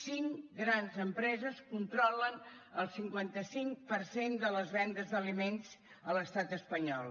cinc grans empreses controlen el cinquanta cinc per cent de les vendes d’aliments a l’estat espanyol